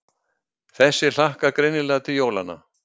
Þessi hlakkar greinilega til jólanna.